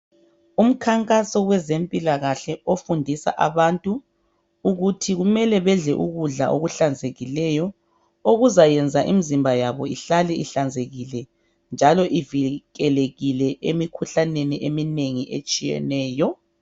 Umkhankaso wezempilakahle ofundisa abantu ukuthi kumele bedle ukudla okuhlanzekileyo okuzayenza imizimba yabo ihlale ihlanzekile njalo ivikelekile emikhuhlaneni eminengi etshiyeneyo.